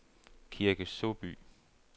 Kirke Såby